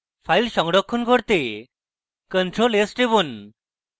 file সংরক্ষণ করতে ctrl + s টিপুন